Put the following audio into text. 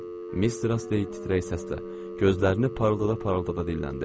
Mister Astley titrək səslə, gözlərini parıldada-parıldada dilləndi.